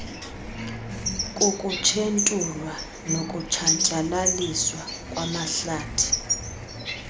kukutshentulwa nokutshatyalaliswa kwamahlathi